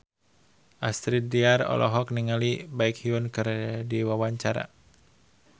Astrid Tiar olohok ningali Baekhyun keur diwawancara